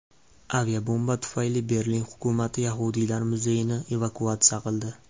Aviabomba tufayli Berlin hukumati yahudiylar muzeyini evakuatsiya qildi.